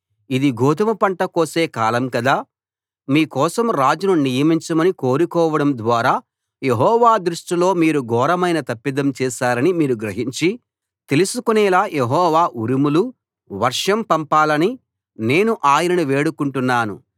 ఇది గోదుమ పంట కోసే కాలం గదా మీ కోసం రాజును నియమించమని కోరుకోవడం ద్వారా యెహోవా దృష్టిలో మీరు ఘోరమైన తప్పిదం చేశారని మీరు గ్రహించి తెలుసుకొనేలా యెహోవా ఉరుములు వర్షం పంపాలని నేను ఆయనను వేడుకొంటున్నాను